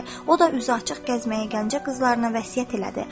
O da üzü açıq gəzməyi Gəncə qızlarına vəsiyyət elədi.